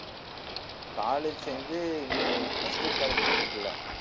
college சேர்ந்து இன்னி first year college போயிட்டிருக்குல்ல